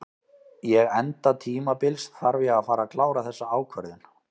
Ég enda tímabils þarf ég að fara að klára þessa ákvörðun.